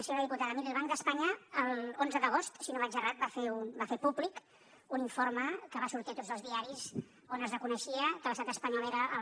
senyora diputada miri el banc d’espanya l’onze d’agost si no vaig errat va fer públic un informe que va sortir a tots els diaris on es reconeixia que l’estat espanyol era el